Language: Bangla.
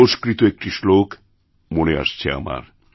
সংস্কৃত একটি শ্লোক মনে আসছে আমার